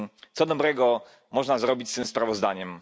Co dobrego można zrobić z tym sprawozdaniem?